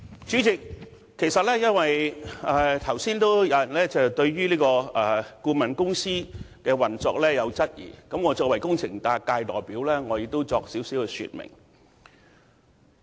主席，有議員剛才質疑顧問公司的運作，我作為工程界的代表，也想在此稍作說明。